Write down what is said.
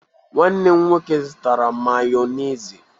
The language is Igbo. Nwanne m nwoke zụtara Mayonezi.